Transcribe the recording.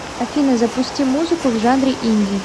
афина запусти музыку в жанре инди